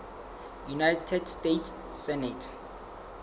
united states senate